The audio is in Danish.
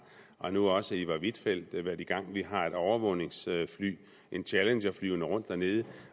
og nu også iver huitfeldt været i gang vi har et overvågningsfly en challenger flyvende rundt dernede